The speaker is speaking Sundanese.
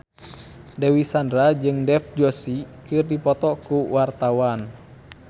Dewi Sandra jeung Dev Joshi keur dipoto ku wartawan